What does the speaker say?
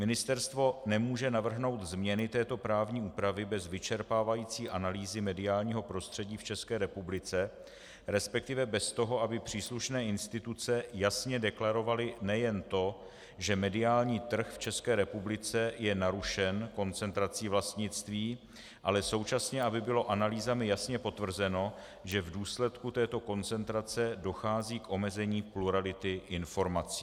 Ministerstvo nemůže navrhnout změny této právní úpravy bez vyčerpávající analýzy mediálního prostředí v České republice, respektive bez toho, aby příslušné instituce jasně deklarovaly nejen to, že mediální trh v České republice je narušen koncentrací vlastnictví, ale současně aby bylo analýzami jasně potvrzeno, že v důsledku této koncentrace dochází k omezení plurality informací.